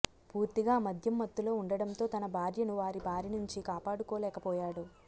పూర్తిగా మద్యం మత్తులో ఉండడంతో తన భార్యను వారి బారి నుంచి కాపాడుకోలేకపోయాడు